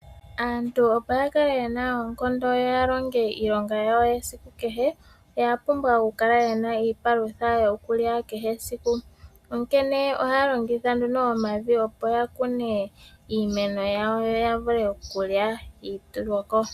Aantu opo ya kale yena oonkondo yo ya longe iilonga yawo yesiku kehe, oya pumbwa oku kala yena iipalutha yokulya kehe esiku. Onkene ohaya longitha nduno omavi opo ya kune iimeno yawo yo ya vule okulya iitulwako.